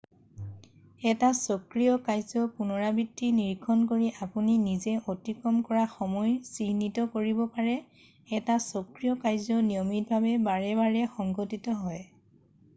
এটা চক্ৰীয় কাৰ্য পুনৰাবৃত্তি নিৰীক্ষণ কৰি আপুনি নিজে অতিক্ৰম কৰা সময় চিহ্নিত কৰিব পাৰে এটা চক্ৰীয় কাৰ্য নিয়মিতভাৱে বাৰে বাৰে সংঘটিত হয়